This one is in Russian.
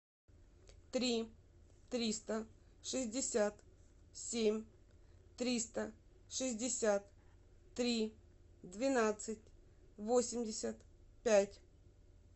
три триста шестьдесят семь триста шестьдесят три двенадцать восемьдесят пять